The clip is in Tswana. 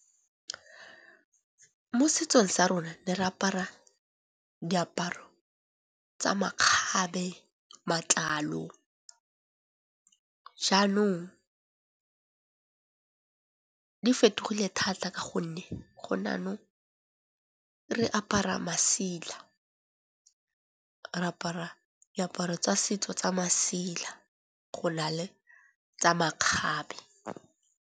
Mo setsong sa rona ne re apara diaparo tsa makgabe matlalo. Jaanong di fetogile thata ka gonne gone yanong re apara masila, re apara diaparo tsa setso tsa masela go na le tsa makgabe.